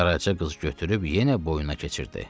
Qaraca qız götürüb yenə boynuna keçirdi.